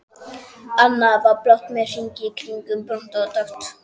Annað var blátt með hring í, hitt brúnt og dökkt.